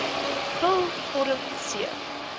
vul vorm c